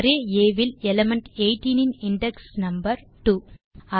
array ஆ இல் element 18 இன் இண்டெக்ஸ் நம்பர் 2